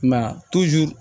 I m'a ye a